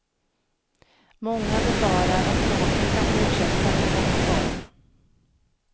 Många befarar att bråken kan fortsätta i någon form.